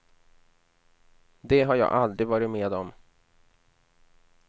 Det har jag aldrig varit med om.